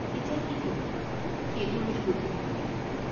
এতিয়া কি কৰিম, সেইটোৰ হে বুদ্ধি দিব লাগিব।